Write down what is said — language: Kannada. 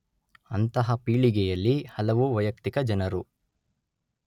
ಅಂತಹ ಪೀಳಿಗೆಯಲ್ಲಿ ಹಲವು ವೈಯಕ್ತಿಕ ಜನರು